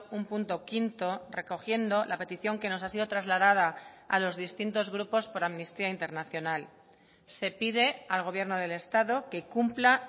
un punto quinto recogiendo la petición que nos ha sido trasladada a los distintos grupos por amnistía internacional se pide al gobierno del estado que cumpla